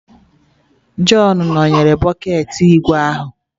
Jọn nọnyeere bọket ígwè ahụ